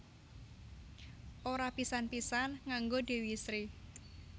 Ora pisan pisan nganggo Dewi Sri